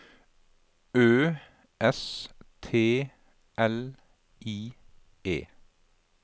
Ø S T L I E